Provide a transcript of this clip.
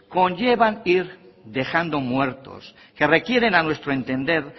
conllevan ir dejando muertos que requieren a nuestro entender